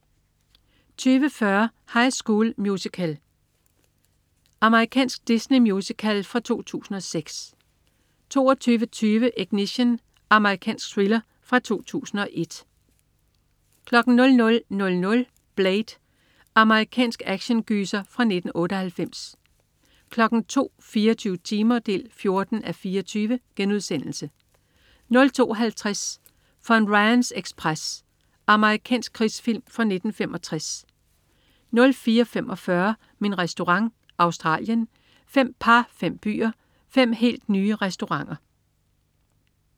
20.40 High School Musical. Amerikansk Disney-musical fra 2006 22.20 Ignition. Amerikansk thriller fra 2001 00.00 Blade. Amerikansk actiongyser fra 1998 02.00 24 timer 14:24.* 02.50 Von Ryans ekspres. Amerikansk krigsfilm fra 1965 04.45 Min Restaurant. Australien. Fem par, fem byer, fem helt nye restauranter